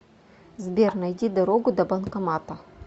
сбер найди дорогу до банкомата